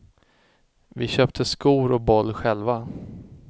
Vi köpte skor och boll själva.